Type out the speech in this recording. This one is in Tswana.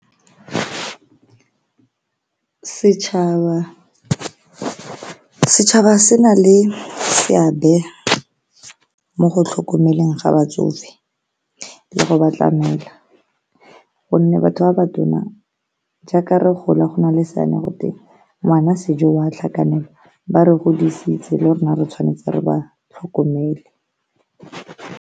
Setšhaba se na le seabe mo go tlhokomeleng ga batsofe le go batla gonne batho ba ba tona jaaka re gola go nale seane gotwe, ngwana sejo o a tlhakanelwa, ba re godisitse le rona re tshwanetse re ba tlhokomele.